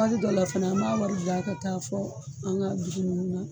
Waati dɔw la fɛnɛ an b'a wari bila ka taa fo an ka duku nunnu na.